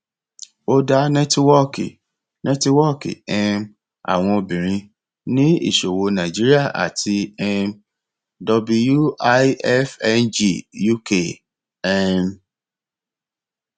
ó dá nẹtíwọọkì nẹtíwọọkì um àwọn obìnrin ní ìṣòwò nàìjíríà àti um wifng uk um